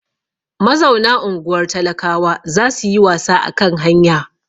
Mazauna unguwar talakawa za su yi wasa a kan hanya.